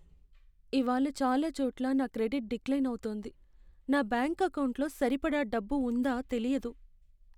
ఇవాళ్ళ చాలా చోట్ల నా క్రెడిట్ డిక్లైన్ అవుతోంది. నా బ్యాంకు ఎకౌంటులో సరిపడా డబ్బు ఉందా తెలియదు.